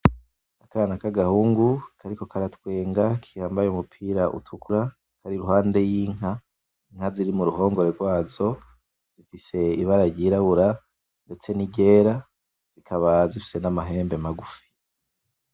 Akana k’agahungu kariko karatwenga kambaye umupira utukura kari iruhande y’inka, inka ziri muruhongore rwazo zifise ibara ryirabura ndetse n’iryera zikaba zifise n’amahembe magufi.